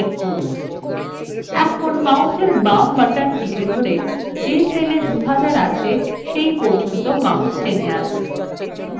এখন mouse এর বাম button টিপে ধরে যে cellএ ২০০০ আছে cell পর্যন্ত mouse টেনে আনুন